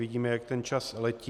Vidíme, jak ten čas letí.